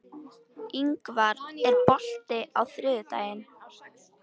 Ingvar, er bolti á þriðjudaginn?